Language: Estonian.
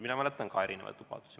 Mina mäletan ka erinevaid lubadusi.